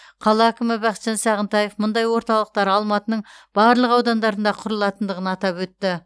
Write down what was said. қала әкімі бақытжан сағынтаев мұндай орталықтар алматының барлық аудандарында құрылатындығын атап өтті